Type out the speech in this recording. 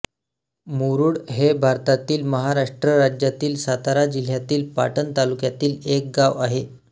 मुरुड हे भारतातील महाराष्ट्र राज्यातील सातारा जिल्ह्यातील पाटण तालुक्यातील एक गाव आहे